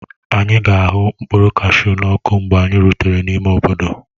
Anyị ga-ahu mkpụrụ kashu n'ọkụ mgbe anyị rutere n'ime obodo.